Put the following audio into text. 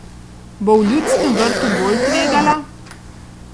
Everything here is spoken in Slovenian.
Bo v Ljudskem vrtu bolj tvegala?